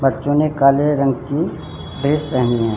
बच्चों ने काले रंग की ड्रेस पहनी है।